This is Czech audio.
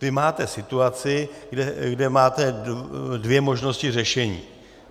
Vy máte situaci, kde máte dvě možnosti řešení.